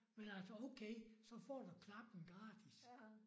Men altså okay så får du klappen gratis